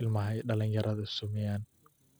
ilmaha dalin yaradha.